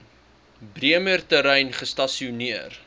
bremer terrein gestasioneer